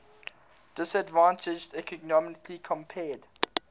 disadvantaged economically compared